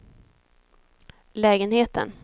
lägenheten